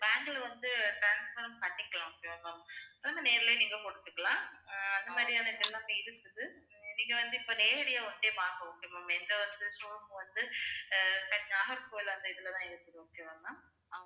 bank ல வந்து transfer உம் பண்ணிக்கலாம் okay வா ma'am அத நேரிலேயே நீங்க கொடுத்துக்கலாம் ஆஹ் அந்த மாதிரியான இதெல்லாம் இருக்குது நீங்க வந்து, இப்ப நேரடியா வந்து பாருங்க எங்க show room வந்து ஆஹ் நாகர்கோவில் அந்த இதுலதான் இருக்குது. okay வா ma'am